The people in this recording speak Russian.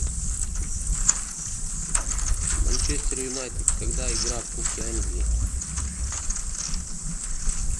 манчестер юнайтед когда игра в кубке англии